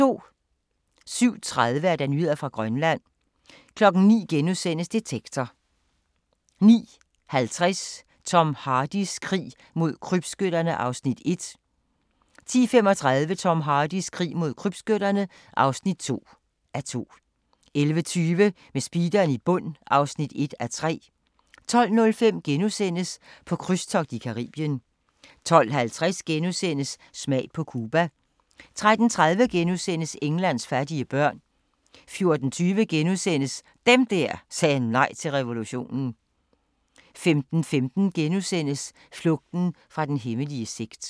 07:30: Nyheder fra Grønland 09:00: Detektor * 09:50: Tom Hardys krig mod krybskytterne (1:2) 10:35: Tom Hardys krig mod krybskytterne (2:2) 11:20: Med speederen i bund (1:3) 12:05: På krydstogt i Caribien * 12:50: Smag på Cuba * 13:30: Englands fattige børn * 14:20: Dem der sagde nej til revolutionen * 15:15: Flugten fra den hemmelige sekt *